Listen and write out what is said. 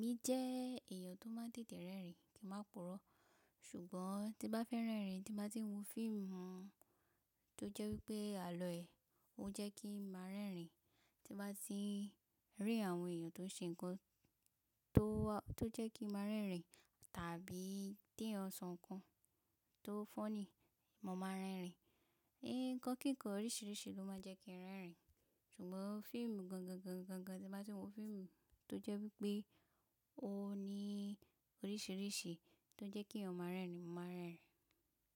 Èmi jẹ́ èèyàn tó máa ń tètè rẹ́rìn kí máa purọ́. Ṣùgbọ́n tí bá fẹ́ rẹ́rìn, tí bá ti ń wo fíìmù tó jẹ́ wípé àlọ́ ẹ̀, ó jẹ́ kí ń máa rẹ́rìn. Tí bá ti ń rí àwọn èèyàn tó ṣe nǹkan tó, tó jẹ́ kí n máa rẹ́rìn tàbí tí eyan sọ nǹkan tó funny, mo máa rẹ́rìn. Nǹkan kíkan oríṣiríṣi ló máa ń jẹ́ kí n rẹ́rìn. Ṣùgbọ́n fíìmù gan gan gan gan gan tí bá ti ń wo fíìmù tó jẹ́ wípé ó ní oríṣiríṣi tó jẹ́ kí eyan ma rẹ́rìn, mo máa rẹ́rìn.